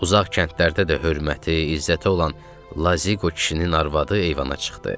Uzaq kəndlərdə də hörməti, izzəti olan Lazığo kişinin arvadı eyvana çıxdı.